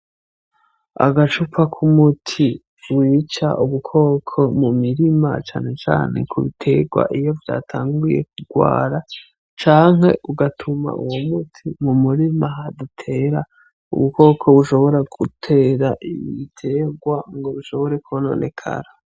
Agacupa k'umuti wica ubukoko mu mirima cane cane ku bitegwa iyo vyatanguye kugwara, canke ugatuma uwo muti mu murima hadatera ubukoko bushobora gutera ibitegwa ngo bishobora kononekara.